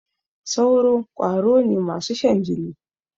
sauro kwaro ne masu Shan jini.